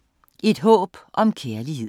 Et håb om kærlighed